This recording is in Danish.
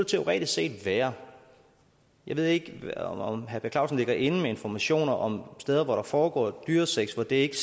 teoretisk set være jeg ved ikke om herre per clausen ligger inde med informationer om steder hvor der er foregået dyresex hvor det ikke